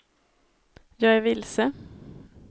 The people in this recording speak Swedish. jag är vilse